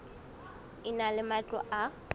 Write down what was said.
e na le matlo a